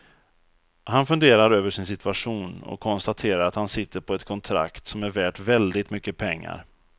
Han funderar över sin situation och konstaterar att han sitter på ett kontrakt som är värt väldigt mycket pengar.